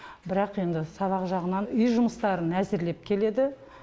бірақ енді сабақ жағынан үй жұмыстарын әзірлеп келеді